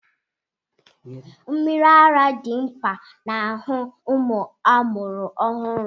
Mmiri ara dị mkpa n'arụ ụmụ amụrụ ọhụụ.